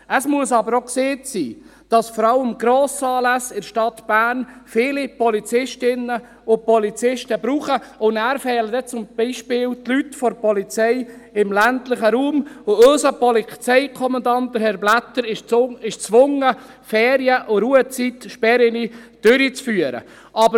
Es muss aber auch gesagt werden, dass es vor allem für Grossanlässe in der Stadt viele Polizistinnen und Polizisten braucht, und dann fehlen dann zum Beispiel die Leute der Polizei im ländlichen Raum, und unser Polizeikommandant, Herr Blättler, ist gezwungen, Ferien- und Ruhezeitsperren auszusprechen.